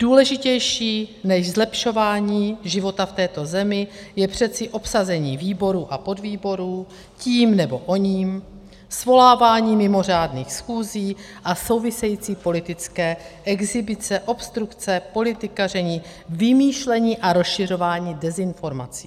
Důležitější než zlepšování života v této zemi je přeci obsazení výborů a podvýborů tím nebo oním, svolávání mimořádných schůzí a související politické exhibice, obstrukce, politikaření, vymýšlení a rozšiřování dezinformací.